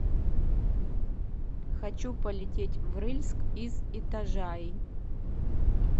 хочу полететь в рыльск из итажаи